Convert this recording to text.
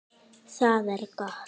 Það er gott